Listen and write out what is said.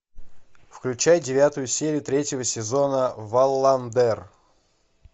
включай девятую серию третьего сезона валландер